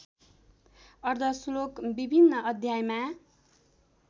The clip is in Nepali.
अर्द्धश्लोक विभिन्न अध्यायमा